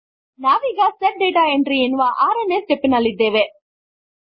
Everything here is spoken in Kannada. ನಾವೀಗ ಸೆಟ್ ಡಾಟಾ Entryಎನ್ನುವ 6ನೇ ಸ್ಟೆಪ್ ನಲ್ಲಿದ್ದೇವೆ